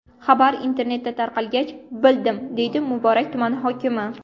Xabar internetda tarqalgach, bildim”, deydi Muborak tumani hokimi.